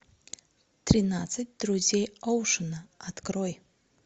тринадцать друзей оушена открой